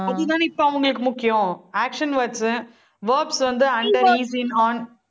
அதுதானே இப்போ அவங்களுக்கு முக்கியம். action words உ, words வந்து under on